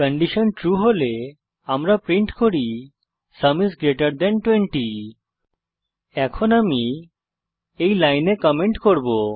condition true হলে আমরা print করি সুম আইএস গ্রেটের থান 20 এখন আমি এই লাইনে কমেন্ট করব